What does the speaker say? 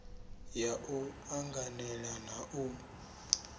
ya u anganela na u